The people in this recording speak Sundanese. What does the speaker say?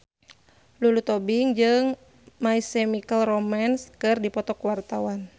Lulu Tobing jeung My Chemical Romance keur dipoto ku wartawan